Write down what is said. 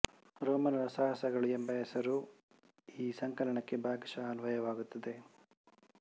ರೋಮನರ ಸಾಹಸಗಳು ಎಂಬ ಹೆಸರು ಈ ಸಂಕಲನಕ್ಕೆ ಭಾಗಶಃ ಅನ್ವಯವಾಗುತ್ತದೆ